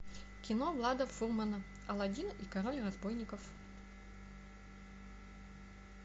кино влада фурмана аладдин и король разбойников